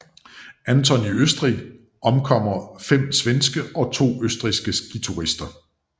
Anton i Østrig omkommer 5 svenske og to østrigske skiturister